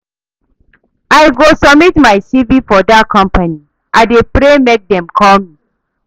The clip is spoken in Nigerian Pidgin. I go submit my CV for dat company, I dey pray make dem call me.